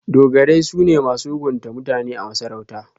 Dogarai su ne masu hukunta mutane a masarauta.